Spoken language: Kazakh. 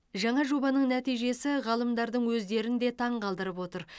жаңа жобаның нәтижесі ғалымдардың өздерін де таңғалдырып отыр